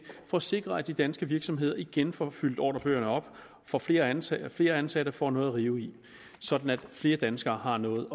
for at sikre at de danske virksomheder igen får fyldt ordrebøgerne op får flere ansatte flere ansatte og får noget at rive i sådan at flere danskere har noget